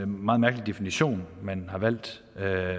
meget mærkelig definition man har valgt at